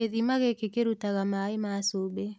Gĩthima gĩkĩ kĩrutaga maĩ ma cumbĩ.